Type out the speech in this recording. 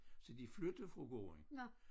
Så de flytter fra gården